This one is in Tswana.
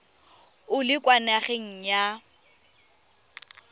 o le kwa nageng ya